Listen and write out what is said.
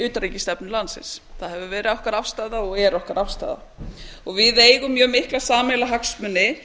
utanríkisstefnu landsins það hefur verið okkar afstaða og er okkar afstaða og við eigum mjög mikla sameiginlega hagsmuni